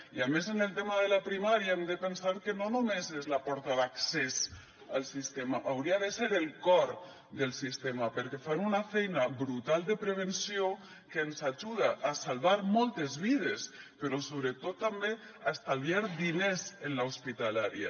i a més en el tema de la primària hem de pensar que no només és la porta d’accés al sistema hauria de ser el cor del sistema perquè fan una feina brutal de prevenció que ens ajuda a salvar moltes vides però sobretot també a estalviar diners en l’hospitalària